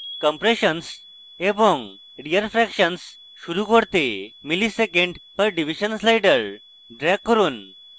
compressions এবং rearfractions শুরু করতে msec/div slider drag করুন